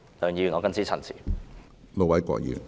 梁議員，我謹此陳辭。